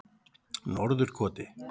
Norðurkoti